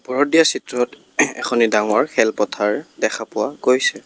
ওপৰত দিয়া চিত্ৰত এখনি ডাঙৰ খেলপথাৰ দেখা পোৱা গৈছে।